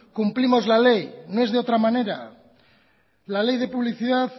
cumplimos la ley no es de otra manera la ley de publicidad